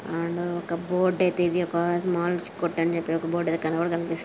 ఆడా ఒక బోర్డ్ అయితే ఇది ఒక ఆజ్ మాలిష్ కొట్టుని చెప్పి ఒక బోర్డ్ అయితే కనపడ-కనిపిస్ --